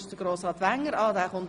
Sie haben das Wort.